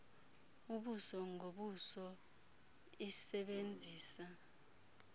ubuso ngobuso isebenzisa